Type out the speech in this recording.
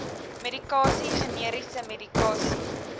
medikasie generiese medikasie